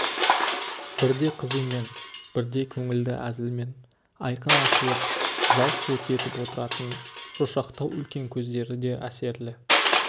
бірде қызумен бірде көңілді әзілмен айқын ашылып жалт-жұлт етіп отыратын шошақтау үлкен көздері де әсерлі